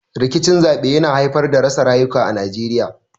Rikicin zaɓe yana haifar da rasa rayuka a Najeriya.